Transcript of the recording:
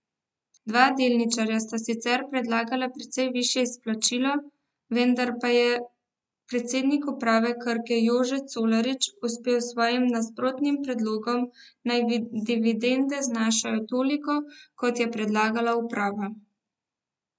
Dva delničarja sta sicer predlagala precej višje izplačilo, vendar pa je predsednik uprave Krke Jože Colarič uspel s svojim nasprotnim predlogom, naj dividende znašajo toliko, kot je predlagala uprava.